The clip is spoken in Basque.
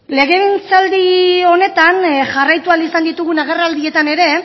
legegintzaldi honetan jarraitu ahal izan ditugun agerraldietan ere